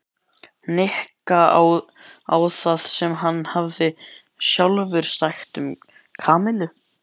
Nikka á það sem hann hafði sjálfur sagt um Kamillu.